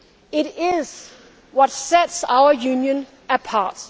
Denmark. It is what sets our Union